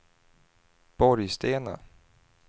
Borgstena